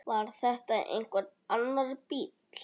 Var þetta einhver annar bíll?